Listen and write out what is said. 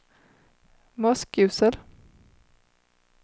Moskosel